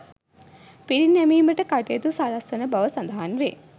පිරිනැමීමට කටයුතු සලස්වන බව සඳහන් වේ.